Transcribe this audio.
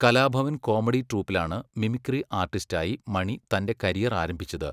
Kalabhavan comedy ട്രൂപ്പിലാണ് mimicry ആർട്ടിസ്റ്റായി മണി തൻ്റെ കരിയർ ആരംഭിച്ചത്.